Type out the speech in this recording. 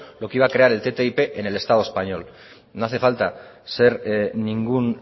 lo que iba a crear el ttip en el estado español no hace falta ser ningún